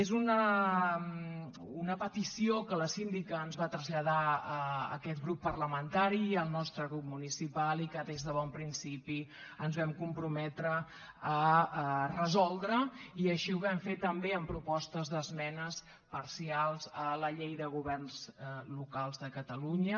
és una petició que la síndica ens va traslladar a aquest grup parlamentari i al nostre grup municipal i que des de bon principi ens vam comprometre a resoldre i així ho vam fer també amb propostes d’esmenes parcials a la llei de governs locals de catalunya